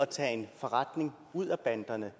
tage en forretning ud af banderne